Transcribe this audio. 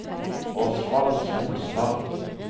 Osvald Solstad